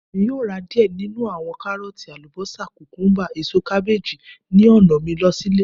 Emi yoo ra diẹ ninu awọn Karooti, ​​alubosa, kukumba, eso kabeeji ni ọna mi lọ si ile